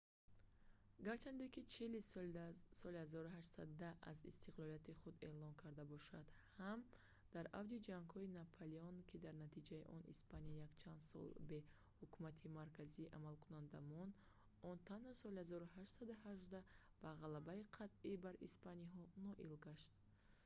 гарчанде ки чили соли 1810 аз истиқлолияти худ эълон карда бошад ҳам дар авҷи ҷангҳои наполеон ки дар натиҷаи он испания якчанд сол бе ҳукумати марказии амалкунанда монд он танҳо соли 1818 ба ғалабаи қатъӣ бар испаниҳо ноил гашт